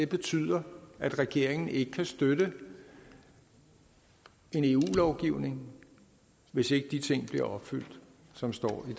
betyder at regeringen ikke kan støtte en eu lovgivning hvis ikke de ting bliver opfyldt som står i